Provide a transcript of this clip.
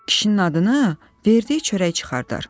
Kişinin adını verdiyi çörək çıxardar.